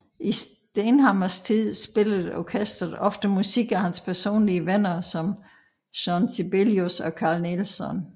I Stenhammars tid spillede orkestret ofte musik af hans personlige venner som Jean Sibelius og Carl Nielsen